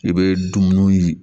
I bɛ dumuni